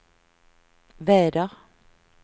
väder